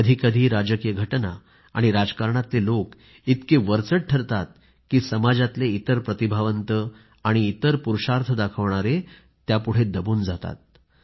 कधी कधी राजकीय घटना आणि राजकारणातले लोक इतके वरचढ ठरतात की समाजातले इतर प्रतिभावंत त्यापुढे दबून जातात